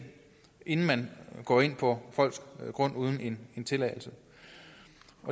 inden man går ind på folks grund uden en tilladelse